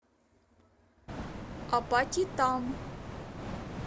апатитам